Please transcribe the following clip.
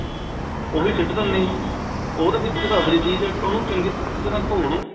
ਉਹੀ ਸਿੱਟ ਦਿੰਦਾ ਆ ਜੀ ਉਹਦੇ ਵਿੱਚ ਤਾਂ ਅਸਲੀ ਚੀਜ ਐ ਉਹਨੂੰ ਚੰਗੀ ਤਰ੍ਹਾਂ ਧੋ ਲੋ